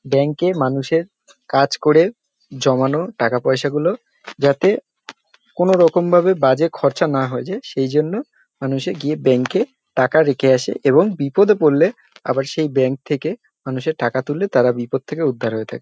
Bank -এ মানুষের কাজ করে জমানো টাকা-পয়সা গুলো যাতে কোন রকম ভাবে বাজে খরচা না হয়ে যায় সেই জন্য মানুষে গিয়ে ব্যাংক -এ টাকা রেখে আসে এবং বিপদে পড়লে আবার সেই ব্যাংক থেকে মানুষে টাকা তুললে তাঁরা বিপদ থেকে উদ্ধার হয়ে থাকে।